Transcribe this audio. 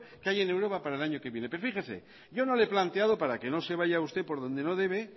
que hay en europa para el año que viene pero fíjese yo no lo he planteado para que no se vaya usted por donde no debe